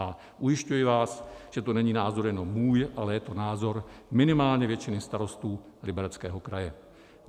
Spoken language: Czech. A ujišťuji vás, že to není názor jenom můj, ale je to názor minimálně většiny starostů Libereckého kraje.